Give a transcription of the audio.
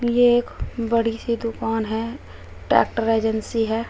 ये एक बड़ी सी दुकान है ट्रैक्टर एजेंसी है।